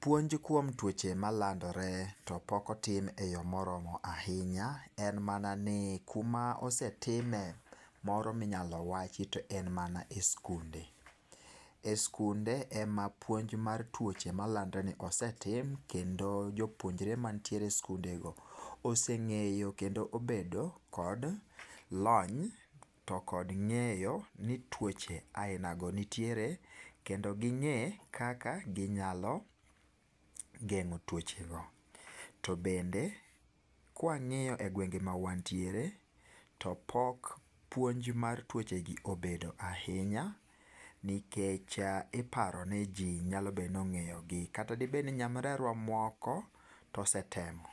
puonj kuome tuoche malandore to pok otim e yo moromo ahinya, en mana ni kuma osetime moro minyalo wachi en mana e skunde,e skunde ema puonj mar tuoche malandore ni osetim kendo jopuonjre mantiere e skundego oseng'eyo kendo obedo kod lony to kod ng'eyo ni tuoche aina go nitiere kendo gi ng'e kaka ginyalo geng'o tuoche go ,to bende kwangiyo e gwenge ma wantiere to pok puonj mar tuoche gi obedo ahinya nikech iparo ni ji nyalo bedo ni ong'eyo gi kata debed ni nyamrerwa moko osetemo ahinya